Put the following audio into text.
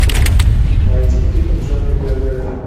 найди фильм в жанре биография